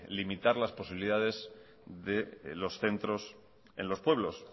limitar las posibilidades de los centros en los pueblos